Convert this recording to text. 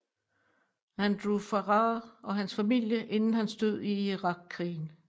Andrew Farrar og hans familie inden hans død i irakkrigen